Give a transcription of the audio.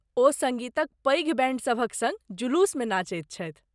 ओ सङ्गीतक पैघ बैण्डसभक सङ्ग जुलूसमे नाचैत छथि।